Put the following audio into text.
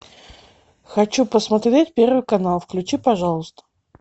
хочу посмотреть первый канал включи пожалуйста